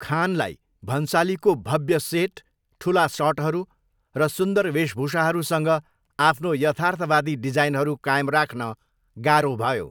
खानलाई भन्सालीको 'भव्य सेट, ठुला सटहरू र सुन्दर वेशभूषाहरू' सँग आफ्नो यथार्थवादी डिजाइनहरू कायम राख्न गाह्रो भयो।